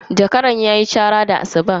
Zakaran ya yi chara da asubahi.